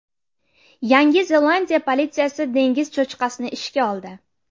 Yangi Zelandiya politsiyasi dengiz cho‘chqasini ishga oldi.